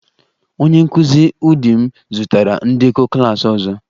Onye nkụzi ụdị m zụtara ndekọ klas ọzọ